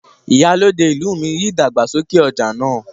Ìyálòde ìlú mi ríi ìdàgbàsókè ọja náà.